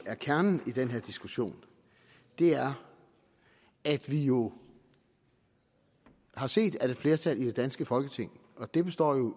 er kernen i den her diskussion er at vi jo har set at et flertal i det danske folketing og det består i